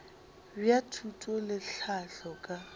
bja thuto le tlhahlo ka